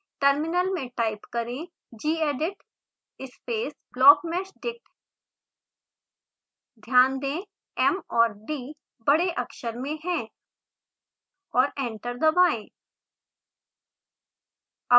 terminal में type करें: gedit space blockmeshdictध्यान दें m और d बड़े अक्षर में हैं और एंटर दबाएं